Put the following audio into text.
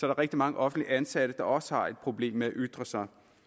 der rigtig mange offentligt ansatte der også har et problem med at ytre sig